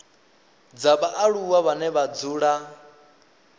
dza vhaaluwa vhane vha dzula